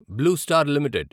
blue star limited